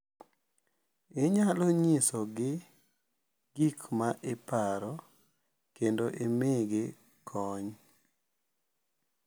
Inyalo nyisogi gik ma iparo, kendo imigi kony.